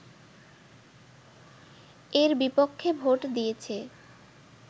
এর বিপক্ষে ভোট দিয়েছে